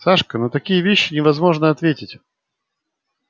сашка на такие вещи невозможно ответить